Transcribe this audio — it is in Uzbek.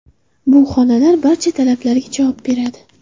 Bu xonalar barcha talablarga javob beradi.